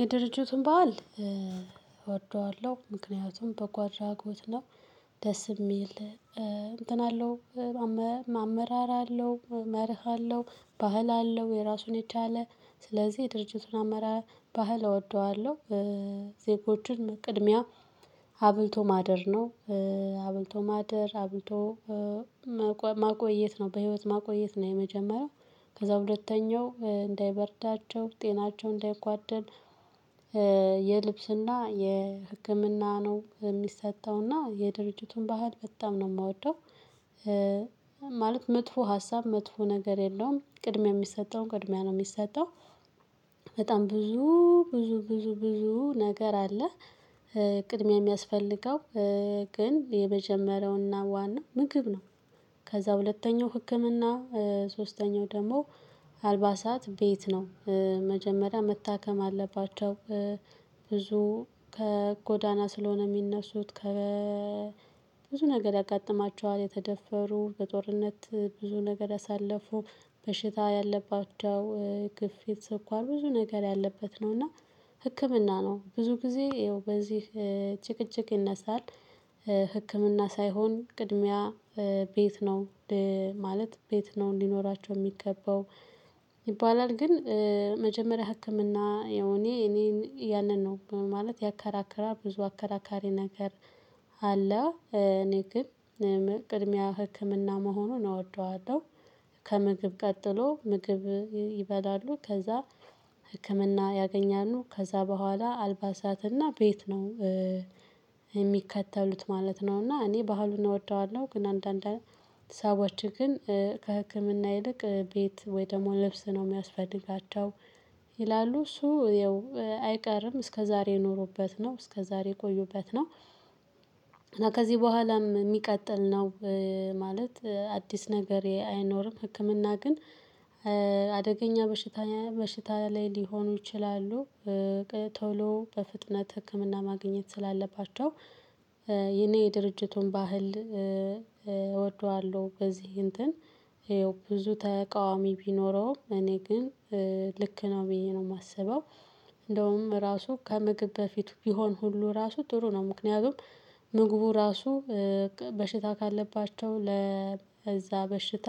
የድርጅቱን በዓል እወደዋለሁ ምክንያቱም በጎ አድራጎት ነው። ደስ ሚል እንትን አለው አመራር አለው መርህ አለው ባህል አለው የራሱን የቻለ ስለዚህ ድርጅቱን አመራር ባህል እወደዋለሁ። ዜጎችን ቅድሚያ አብልቶ ማደር ነው። አብልቶ ማደር አብልቶ ማቆየት ነው በህይወት ማቆየት ነው የመጀመሪያው ከዛ ሁለተኛው እንዳይበርዳቸው ጤናቸው እንዳይጓደል። የልብስና የህክምና ነው የሚሰጠውና የድርጅቱን ባህል በጣም ነው ምወደው። ማለት መጥፎ ሀሳብ መጥፎ ነገር የለውም ቅድሚያ የሚሰጠውን ቅድሚያ ነው የሚሰጠው። በጣም ብዙ ብዙ ብዙ ብዙ ነገር አለ። ቅድሚያ ሚያስፈልገው ግን የመጀመሪያውና ዋናው ምግብ ነው። ከዛ ሁለተኛው ህክምና ሶስተኛው ደግሞ አልባሳት ቤት ነው። መጀመሪያ መታከም አለባቸው። ብዙ ከጎዳና ስለሆነ ሚነሱት ከ ብዙ ነገር ያጋጥማቸዋል የተደፈሩ በጦርነት ብዙ ነገር ያሳለፉ በሽታ ያለባቸው ክፍት ስኳር ብዙ ነገር ያለበት ነው። እና ህክምና ነው ብዙ ጊዜ ይኸው በዚህ ጭቅጭቅ ይነሳል። ህክምና ሳይሆን ቅድሚያ ቤት ነው። ማለት ቤት ነው ሊኖራቸው ሚገባው። ይባላል ግን መጀመሪያ ህክምና ያው እኔ እኔን ያንን ነው ማለት ያከራከራል ብዙ አከራካሪ ነገር። አለ እኔ ግን ቅድሚያ ህክምና መሆኑን እወደዋለሁ። ከምግብ ቀጥሎ ምግብ ይበላሉ ከዛ ህክምና ያገኛሉ ከዛ በኋላ አልባሳትና ቤት ነው። የሚከተሉት ማለት ነው እና እኔ ባህሉን እወደዋለሁ ግን አንዳንድ ሰዎች ግን ከህክምና ይልቅ ቤት ወይ ደግሞ ልብስ ነው የሚያስፈልጋቸው። ይላሉ እሱ ያው አይቀርም እስከዛሬ የኖሩበት ነው እስከዛሬ የቆዩበት ነው። ከዚህ በኋላም ሚቀጥል ነው። ማለት አዲስ ነገሬ አይኖርም። ህክምና ግን አደገኛ በሽታ ላይ ሊሆኑ ይችላሉ። ቶሎ በፍጥነት ህክምና ማግኘት ስላለባቸው። እኔ የድርጅቱን ባህል እወደዋለሁ በዚህ እንትን ብዙ ተቃዋሚ ቢኖረውም እኔ ግን ልክ ነው ብዬ ነው ማስበው። እንደውም ራሱ ከምግብ በፊት ቢሆን ሁሉ ራሱ ጥሩ ነው። ምክንያቱም ምግቡ ራሱ በሽታ ካለባቸው ለዛ በሽታ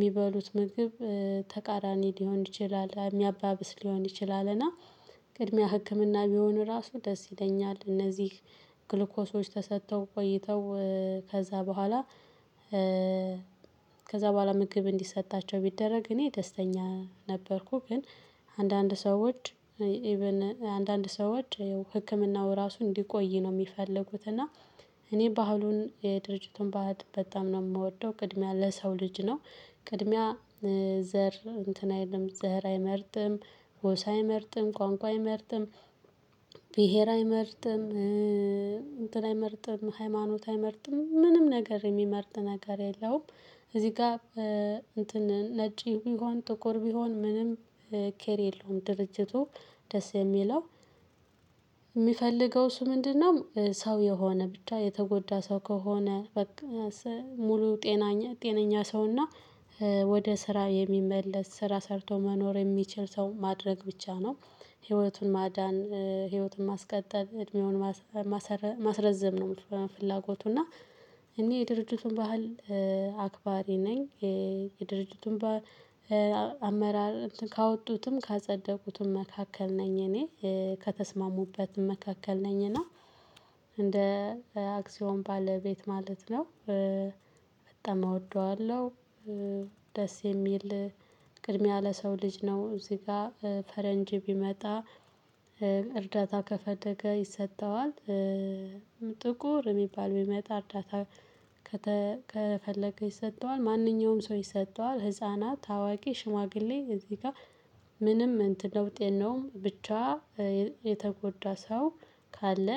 ሚበሉት ምግብ ተቃራኒ ሊሆን ይችላል ሚያባብስ ሊሆን ይችላል። እና ቅድሚያ ህክምና ቢሆን ራሱ ደስ ይለኛል። እነዚህ ግሉኮሶች ተሰጥተው ቆይተው ከዛ በኋላ ከዛ በኋላ ምግብ እንዲሰጣቸው ቢደረግ እኔ ደስተኛ ነበርኩ። ግን አንዳንድ ሰዎች ኢቭን አንዳንድ ሰዎች ህክምናው ራሱ እንዲቆይ ነው ሚፈልጉት እና እኔ ባህሉን ድርጅቱን ባህል በጣም ነው ምወደው ቅድሚያ ለሰው ልጅ ነው። ቅድሚያ ዘር እንትን አይለም ዘር አይመርጥም ጎሳ አይመርጥም ቋንቋ አይመርጥም ብሄር አይመርጥም እንትን አይመርጥም ሃይማኖት አይመርጥም ምንም ነገር የሚመርጥ ነገር የለውም። እዚህ ጋር እንትን ነጭ ቢሆን ጥቁር ቢሆን ምንም ኬር የለውም። ድርጅቱ ደስ የሚለው ሚፈልገው እሱ ምንድነው? ሰው የሆነ ብቻ የተጎዳ ሰው ከሆነ በቃ ሙሉ ጤናኛ ጤነኛ ሰውና ወደ ስራ የሚመለስ ስራ ሰርቶ መኖር የሚችል ሰው ማድረግ ብቻ ነው። ህይወቱን ማዳን ህይወቱን ማስቀጠል እድሜውን ማስረዘም ነው። ፍላጎቱ እና እኔ የድርጅቱን ባህል አክባሪ ነኝ። የድርጅቱም ጋር በአመራር ካወጡትም ካጸደቁትም መካከል ነኝ እኔ ከተስማሙበትም መካከል ነኝ እና እንደ አክሲዮን ባለቤት ማለት ነው። በጣም እወደዋለሁ። ደስ የሚል ቅድሚያ ለሰው ልጅ ነው እዚህ ጋር ፈረንጅ ቢመጣ እርዳታ ከፈለገ ይሰጠዋል። ጥቁር ሚባል ቢመጣ እርዳታ ከፈለገ ይሰጠዋል። ማንኛውም ሰው ይሰጠዋል ህፃናት አዋቂ ሽማግሌ እዚህ ጋር ምንም እንትን ለውጥ የለውም። ብቻ የተጎዳ ሰው ካለ።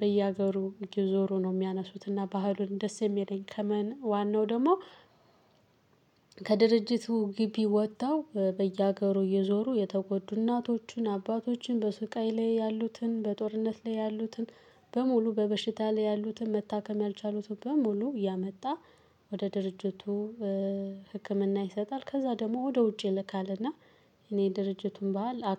በየሀገሩ እየዞሩ ነው የሚያነሱትና ባህሉን ደስ የሚለኝ ከመን ዋናው ደግሞ ከድርጅቱ ግቢ ወጥተው በየሀገሩ እየዞሩ የተጎዱ እናቶቹን አባቶቹን በስቃይ ላይ ያሉትን በጦርነት ላይ ያሉትን በሙሉ በበሽታ ላይ ያሉትን መታከም ያልቻሉትን በሙሉ እያመጣ ወደ ድርጅቱ ህክምና ይሰጣል። ከዛ ደግሞ ወደ ውጪ ይልካልና እና የድርጅቱን ባህል